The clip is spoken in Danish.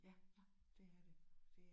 Ja det er det